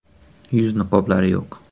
“Yuz niqoblari yo‘q.